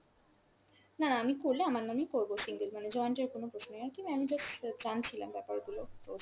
না না আমি করলে আমার নামেই করব single, মানে joint এর কোনো আরকী ma'am just জানছিলাম ব্যাপার গুলো, তো